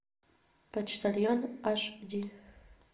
почтальон аш ди